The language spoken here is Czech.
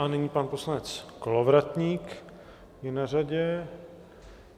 A nyní pan poslanec Kolovratník je na řadě.